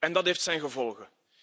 Dat heeft zijn gevolgen.